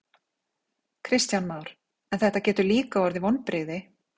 Kristján Már: En þetta getur líka orðið vonbrigði?